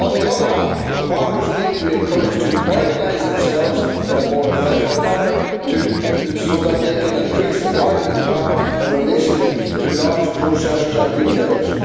On the other hand, farmers need to be encouraged to organise themselves in a more effective manner so that they can increase their bargaining power in relation to large processors and retailers.